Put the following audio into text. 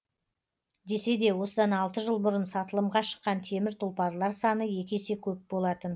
десе де осыдан алты жыл бұрын сатылымға шыққан темір тұлпарлар саны екі есе көп болатын